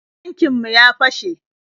Tankin mu ya fashe.